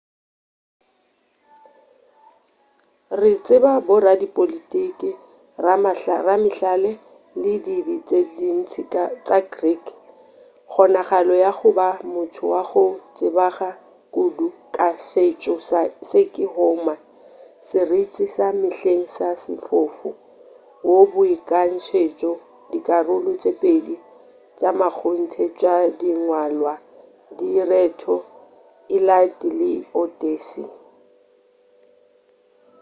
re tseba boradipolotiki ramahlale le dibine tše ntši tša greek kgonagalo ya go ba motho wa go tsebaga kudu ka setšo se ke homer seriti sa mehleng sa sefofu wo a beakantšego dikarolo tše pedi tša mmakgonthe tša dingwalwa direto iliad le odyssey